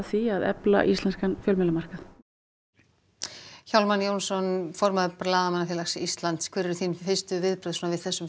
því að efla íslenskan fjölmiðlamarkað Hjálmar Jónsson formaður Blaðamannafélags Íslands hver eru þín fyrstu viðbrögð við þessum